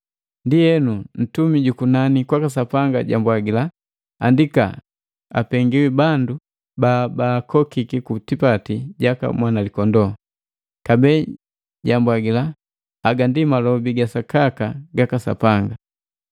Ndienu, ntumi ju kunani kwaka Sapanga jambwagila, “Andika, apengiwi bandu ba baakokii ku tipati jaka Mwanalikondoo!” Kabee jambwagila, “Haga ndi malobi ga sakaka gaka Sapanga.”